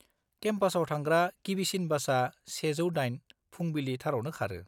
केम्पासाव थांग्रा गिबिसिन बासआ 108, फुंबिलि थारावनो खारो।